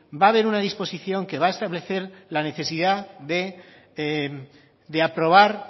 va haber una disposición que va establecer la necesidad de aprobar